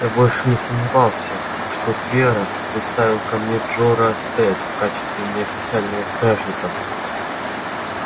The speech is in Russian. я больше не сомневался что твера приставил ко мне джоран сатт в качестве неофициального стражника